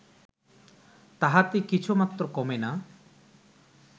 তাহাতে কিছুমাত্র কমে না